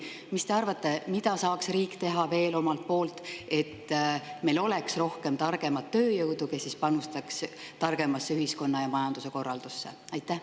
Mis te arvate, mida saaks riik veel teha selleks, et meil oleks rohkem targemat tööjõudu, kes panustaks targemasse ühiskonna ja majanduse korraldusse?